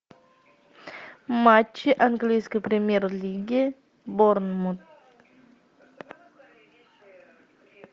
матчи английской премьер лиги борнмут